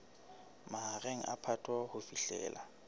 mahareng a phato ho fihlela